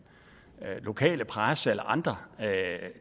lokale presse eller andre